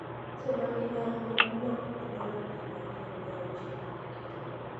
Nyanza ma milambo, iloko gi dola piero ariyo gi auchiel mag Kenya.